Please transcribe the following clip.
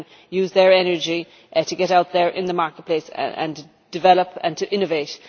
use their energy to get out there in the marketplace and develop and innovate.